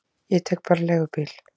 Ég tek bara leigubíl.